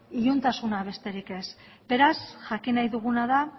iluntasuna besterik ez beraz jakin nahi duguna da